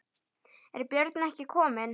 Er Björn ekki kominn?